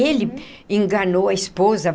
Ele enganou a esposa.